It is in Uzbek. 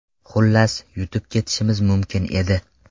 Xullas, yutib ketishimiz mumkin edi.